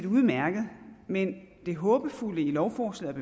udmærket men det håbefulde i lovforslaget